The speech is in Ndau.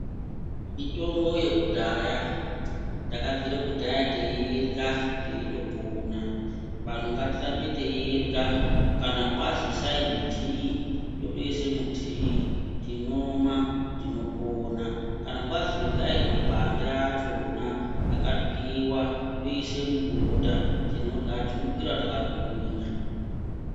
Mitombo yekudhaya takabvire kudhaya teiirya teitopona vanhu ngatirambe teiirya kana kwazi isai mutii totoise mutiii tinomwa tinopona kana kwazi iryayi mapande achona akatwiwa toise mubota tinorya tinokwira takaguyinya.